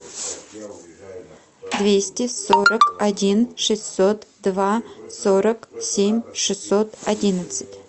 двести сорок один шестьсот два сорок семь шестьсот одиннадцать